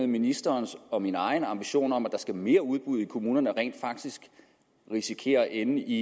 ministerens og min egen ambition om at der skal mere udbud i kommunerne rent faktisk risikerer at ende i